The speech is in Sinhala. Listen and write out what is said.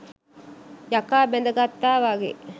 යකා බැඳ ගත්තා වගේ !